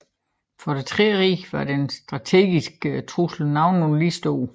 For det Tredje rige var de strategiske trusler nogenlunde lige store